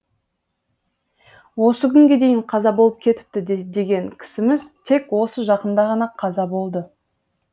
осы күнге дейін қаза болып кетіпті деген кісіміз тек осы жақында ғана қаза болды